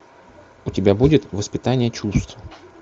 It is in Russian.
у тебя будет воспитание чувств